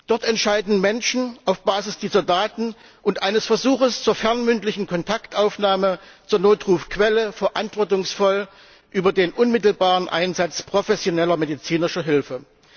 Dort entscheiden Menschen auf Basis dieser Daten und eines Versuchs zur fernmündlichen Kontaktaufnahme zur Notrufquelle verantwortungsvoll über den unmittelbaren Einsatz professioneller medizinischer Hilfe.